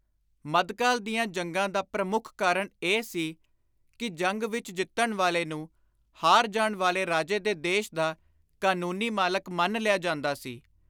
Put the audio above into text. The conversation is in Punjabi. ਮੱਧਕਾਲ ਦੀਆਂ ਜੰਗਾਂ ਦਾ ਪ੍ਰਮੁੱਖ ਕਾਰਣ ਇਹ ਸੀ ਕਿ ਜੰਗ ਵਿਚ ਜਿੱਤਣ ਵਾਲੇ ਨੂੰ ਹਾਰ ਜਾਣ ਵਾਲੇ ਰਾਜੇ ਦੇ ਦੇਸ਼ ਦਾ ਕਾਨੂੰਨੀ ਮਾਲਕ ਮੰਨ ਲਿਆ ਜਾਂਦਾ ਸੀ।